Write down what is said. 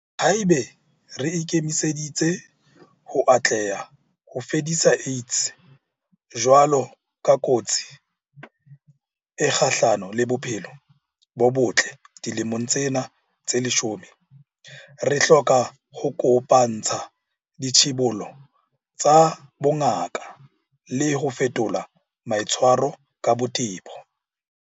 Haeba re ikemiseditse ho atleha ho fedisa AIDS jwalo ka kotsi e kgahlano le bophelo bo botle dilemong tsena tse leshome, re hloka ho kopa-ntsha ditshibollo tsa bongaka le ho fetola maitshwaro ka botebo.